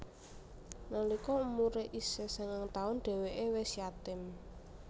Nalika umure isih sangang taun dheweke wis yatim